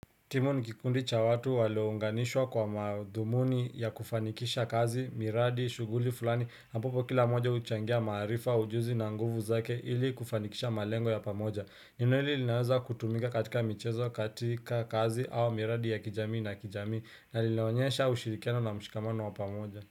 Timu ni kikundi cha watu waliounganishwa kwa madhumuni ya kufanikisha kazi, miradi, shughuli fulani, ambapo kila moja huchangia maarifa, ujuzi na nguvu zake ili kufanikisha malengo ya pamoja. Neno hili linaweza kutumika katika michezo, katika kazi au miradi ya kijamii na kijamii na linaonyesha ushirikiano na mshikamano wa pamoja.